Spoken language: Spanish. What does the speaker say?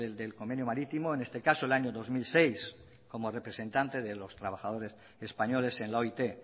del convenio marítimo en este caso el año dos mil seis como representante de los trabajadores españoles en la oit